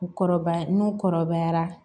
U kɔrɔbaya n'u kɔrɔbayara